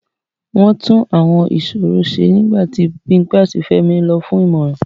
Wọ́n tún Àwọn ìṣòro ṣe nígbà tí Bimpe àti Femi lọ fún ìmọ̀ràn.